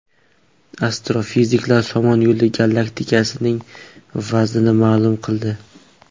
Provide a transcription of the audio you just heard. Astrofiziklar Somon Yo‘li galaktikasining vaznini ma’lum qildi.